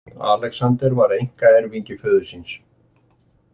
Alexander var einkaerfingi föður síns.